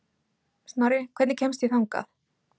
Snorri, hvernig kemst ég þangað?